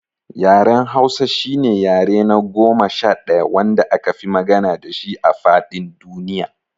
Yaren Hausa shine yare na goma sha ɗaya wanda akafi magana dashi a faɗin duniya.